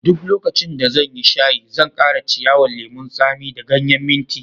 Duk lokacin da zan yi shayi, zan kara ciyawan lemun tsami da ganyen minti.